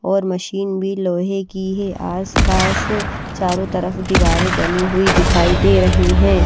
और मशीन भी लोहे की है आस पास चारों तरफ दीवारें बनी हुई दिखाई दे रही हैं।